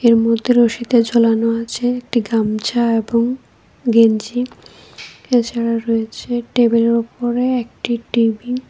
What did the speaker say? এর মধ্যে রশিতে ঝুলানো আছে একটি গামছা এবং গেঞ্জি এছাড়া রয়েছে টেবিলের ওপরে একটি টি_ভি ।